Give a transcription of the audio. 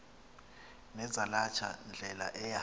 nezalatha ndlela eya